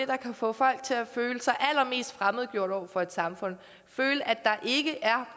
der kan få folk til at føle sig allermest fremmedgjort over for et samfund og føle at der ikke er